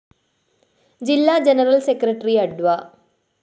ജില്ലാ general secretary അഡ്വ